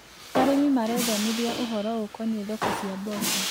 Arĩmi marethomithia ũhoro ũkoniĩ thoko cia mboco.